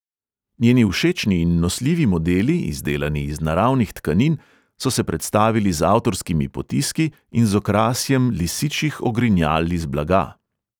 Njeni všečni in nosljivi modeli, izdelani iz naravnih tkanin, so se predstavili z avtorskimi potiski in z okrasjem lisičjih ogrinjal iz blaga.